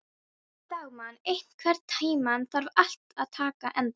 Dagmann, einhvern tímann þarf allt að taka enda.